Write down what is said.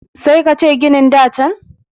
sai ka ce ginin da can